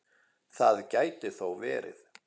Það gæti þó verið.